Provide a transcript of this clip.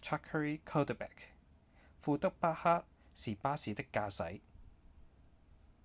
zachary cuddeback 庫德巴克是巴士的駕駛